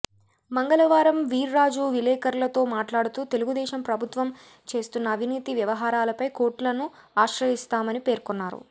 మంగళవారం వీర్రాజు విలేఖరులతో మాట్లాడుతూ తెలుగుదేశం ప్రభుత్వం చేస్తున్న అవినీతి వ్యవహారాలపై కోర్టులను ఆశ్రయిస్తామని పేర్కొన్నారు